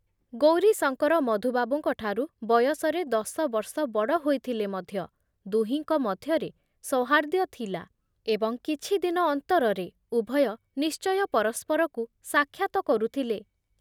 ଗୌରୀଶଙ୍କର ମଧୁବାବୁଙ୍କ ଠାରୁ ବୟସରେ ଦଶବର୍ଷ ବଡ଼ ହୋଇଥିଲେ ମଧ୍ୟ ଦୁହିଙ୍କ ମଧ୍ୟରେ ସୌହାର୍ଦ୍ଦ୍ଯ ଥିଲା ଏବଂ କିଛିଦିନ ଅନ୍ତରରେ ଉଭୟ ନିଶ୍ଚୟ ପରସ୍ପରକୁ ସାକ୍ଷାତ କରୁଥିଲେ ।